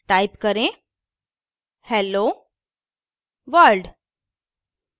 type करें hello world